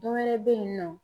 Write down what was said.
Dɔ wɛrɛ be yen nɔ